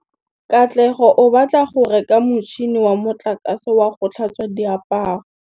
Katlego o batla go reka motšhine wa motlakase wa go tlhatswa diaparo.